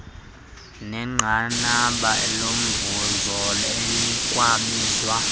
nenqanaba lomvuzo elikwabizwa